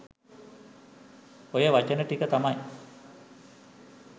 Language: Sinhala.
ඔය වචන ටික තමයි